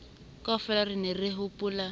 kaofela re ne re hopola